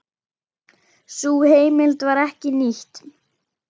Sú heimild var ekki nýtt.